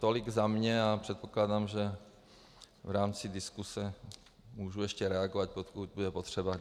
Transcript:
Tolik za mě a předpokládám, že v rámci diskuse mohu ještě reagovat, pokud bude potřeba.